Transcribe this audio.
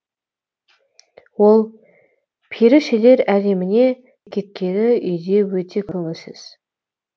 ол перішелер әлеміне кеткелі үйде өте көңілсіз